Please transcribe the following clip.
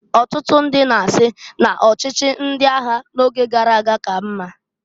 Ọtụtụ ndị na-asị n'ọchịchị ndị agha n'oge gara aga ka mma.